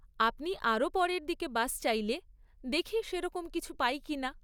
আপনি আরও পরের দিকে বাস চাইলে, দেখি সেরকম কিছু পাই কিনা।